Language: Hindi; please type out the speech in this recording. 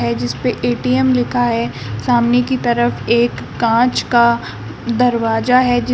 जिस पे ए_टी_एम लिखा है सामने की तरफ एक कांच का दरवाजा है जिस--